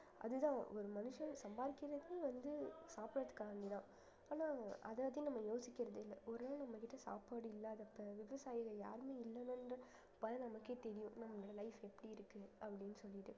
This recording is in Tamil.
அதுதான் ஒரு மனுஷன் சம்பாதிக்கிறதுக்கு வந்து சாப்பிடறதுக்காக வேண்டிதான் ஆனா அதை பத்தி நம்ம யோசிக்கிறது இல்ல ஒரு வேளை நம்மகிட்ட சாப்பாடு இல்லாதப்ப விவசாயிகள் யாருமே நமக்கே தெரியும் நம்மளோட life எப்படி இருக்கு அப்படின்னு சொல்லிட்டு